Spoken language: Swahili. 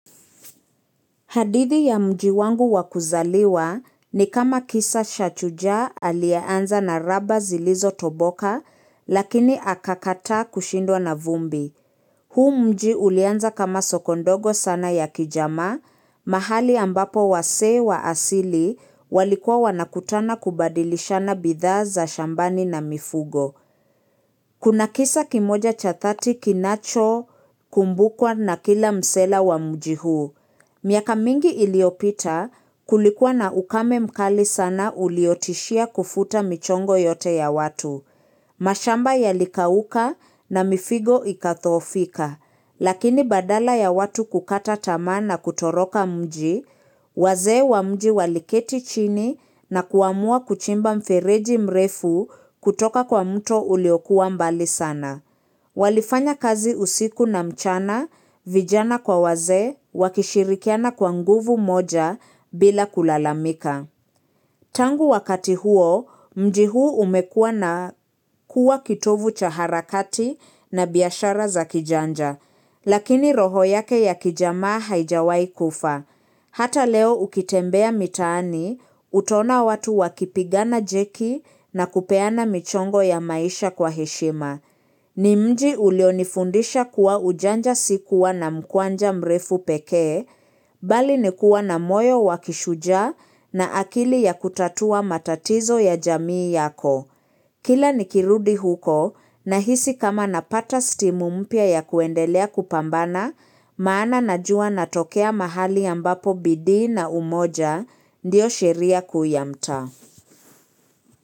Hadithi ya mji wangu wakuzaliwa ni kama kisa cha shujaa alieanza na raba zilizo toboka, lakini akakata kushindwa na vumbi. Huu mji ulianza kama soko ndogo sana ya kijamaa, mahali ambapo wasee wa asili walikuwa wanakutana kubadilishana bidha za shambani na mifugo. Kuna kisa kimoja cha dhati kinacho kumbukwa na kila msela wa mji huu. Miaka mingi iliopita kulikuwa na ukame mkali sana uliotishia kufuta michongo yote ya watu. Mashamba yalikauka na mifugo ikathoofika. Lakini badala ya watu kukata tamaa na kutoroka mji, wazee wa mji waliketi chini na kuamua kuchimba mfereji mrefu kutoka kwa mto uliokuwa mbali sana. Walifanya kazi usiku na mchana, vijana kwa waze, wakishirikiana kwa nguvu moja bila kulalamika. Tangu wakati huo, mji huu umekua na kuwa kitovu cha harakati na bihashara za kijanja. Lakini roho yake ya kijamaa haijawai kufa. Hata leo ukitembea mitaani, utona watu wakipigana jeki na kupeana michongo ya maisha kwa heshima. Ni mji ulionifundisha kuwa ujanja si kuwa na mkwanja mrefu peke, bali nikuwa na moyo wakishuja na akili ya kutatua matatizo ya jamii yako. Kila nikirudi huko nahisi kama napata stimu mpya ya kuendelea kupambana, maana najua natokea mahali ambapo bidii na umoja ndio sheria kuu ya mtaa.